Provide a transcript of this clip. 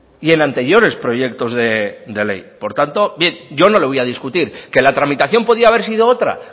y en anteriores proyectos de ley por tanto yo no le voy a discutir que la tramitación podía haber sido otra